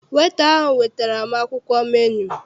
Weta ahụ wetara m akwụkwọ menu.